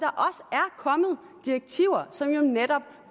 kommet direktiver som jo netop